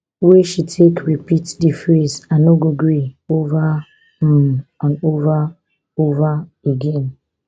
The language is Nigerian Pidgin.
wey she take repeat di phrase i no go gree ova um and ova ova again